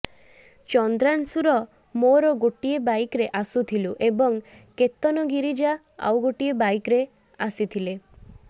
ଚନ୍ଦ୍ରାଂଶୁର ମୋର ଗୋଟିଏ ବାଇକରେ ଆସୁଥିଲୁ ଏବଂ କେତନ ଗିରିଜା ଆଉ ଗୋଟିଏ ବାଇକରେ ଆସିଥିଲେ